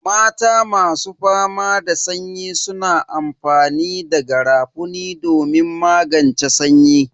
Mata masu fama da sanyi suna amfani da garafuni domin magance sanyi.